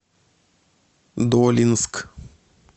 долинск